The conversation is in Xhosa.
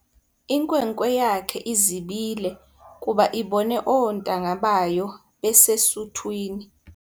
Inkwenkwe yakhe izibile kuba ibone oontanga bayo besesuthwini.